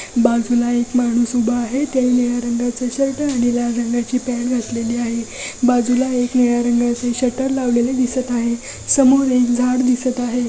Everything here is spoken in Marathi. बाजूला एक माणूस उभा आहे त्याने निळ्या रंगाचा शर्ट आणि लाल रंगाची पॅंट घातलेली आहे बाजूला एक निळ्या रंगाच शटर लावलेले दिसत आहे समोर एक झाड दिसत आहे.